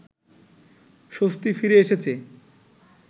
স্বস্তি ফিরে এসেছে